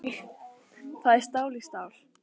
Það er stál í stál